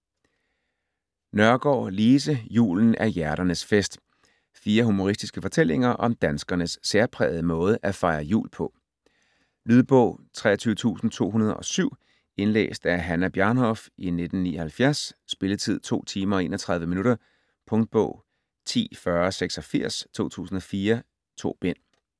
Nørgaard, Lise: Julen er hjerternes fest Fire humoristiske fortællinger om danskernes særprægede måde at fejre jul på. Lydbog 23207 Indlæst af Hannah Bjarnhof, 1979. Spilletid: 2 timer, 31 minutter. Punktbog 104086 2004. 2 bind.